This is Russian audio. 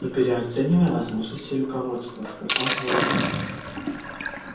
не переоценивай возможностей руководства сказала ольга